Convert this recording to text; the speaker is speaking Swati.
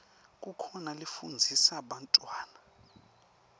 kukhona lafundzisa bantfwana